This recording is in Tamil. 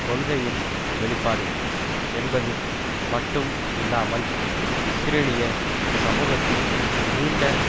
கொள்கையின் வெளிப்பாடு என்பது மட்டும் இல்லாமல் இஸ்ரேலிய சமூகத்தில் நீண்ட